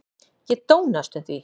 Ég dó næstum því.